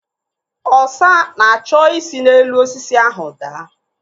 Ọsa na-achọ isi n'elu osisi ahụ daa.